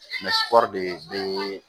de bee